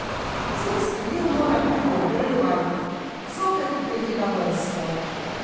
Zimski del mora biti ogrevan, zopet glede na vrsto.